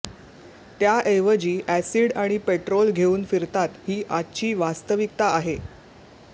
त्याऐवजी अॅसिड आणि पेट्रोल घेऊन फिरतात ही आजची वास्तविकता आहे